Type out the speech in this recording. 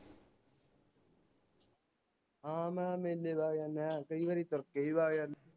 ਹਾਂ ਮੈਂ ਮੇਲੇ ਦਾ ਕਈ ਵਾਰੀ ਕੇ